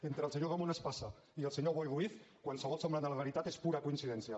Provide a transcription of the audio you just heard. entre el senyor ramon espasa i el senyor boi ruiz qualsevol semblança amb la realitat és pura coincidència